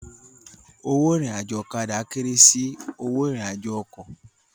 Owó irin àjò ọ̀kadà kéré sì owó ìrìn àjò ọkọ̀